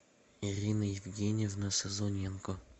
ирина евгеньевна сазоненко